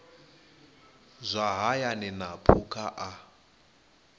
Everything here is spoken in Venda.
zwa hayani na phukha a